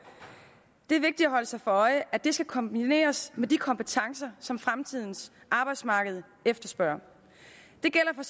det er vigtigt at holde sig for øje at det skal kombineres med de kompetencer som fremtidens arbejdsmarked efterspørger det gælder